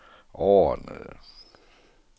overordnede